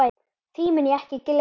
Því mun ég ekki gleyma.